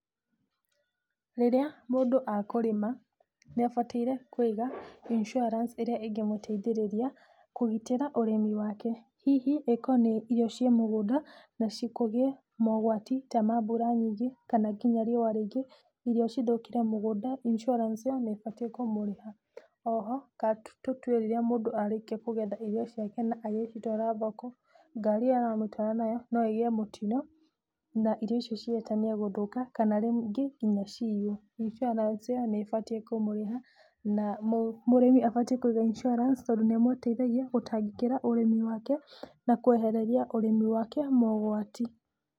Rĩrĩa mũndũ akũrima nĩ abataire kũiga insuarance ĩrĩa ĩngĩmũteithĩrĩria kũgitĩra ũrĩmi wake. Hihi okorwo nĩ irio ciĩ mũgũnda nacio kũgĩe mogwati ta ma mbura nyingĩ kana nginya riũa rĩingĩ irio cithũkĩre mũgũnda insuarance ĩyo nĩ ĩbatiĩ kũmũrĩha. Oho tũtue rĩrĩa mũndũ arĩkia kũgetha irio ciake kana agĩcitwara thoko, ngari ĩyo aracitwara nayo no ĩgĩe mũtino na irio icio cihĩtanie gũthũka kana rĩmwe nginya ciiywo. Insuarance ĩyo nĩ ĩbatiĩ kũmũrĩha na mũrĩmi abatiĩ kũiga insuarance tondũ nĩ ĩmũteithagia gũtangĩkĩra ũrĩmi wake na kwehereria ũrĩmi wake mogwati.